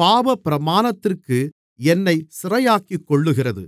பாவப்பிரமாணத்திற்கு என்னைச் சிறையாக்கிக் கொள்ளுகிறது